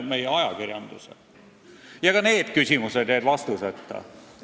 Ka need küsimused jäid vastuseta.